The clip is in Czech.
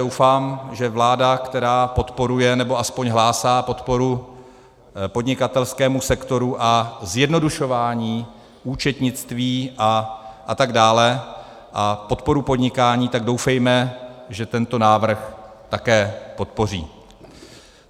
Doufám, že vláda, která podporuje, nebo aspoň hlásí podporu podnikatelskému sektoru a zjednodušování účetnictví a tak dále, a podporu podnikání, tak doufejme, že tento návrh také podpoří.